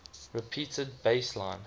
repeated bass line